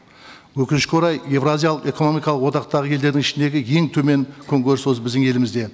өкінішке орай еуразиялық экономикалық одақтағы елдердің ішіндегі ең төмен күнкөріс осы біздің елімізде